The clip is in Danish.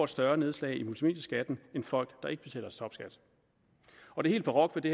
større nedslag i multimedieskatten end folk der ikke betaler topskat og det helt barokke ved det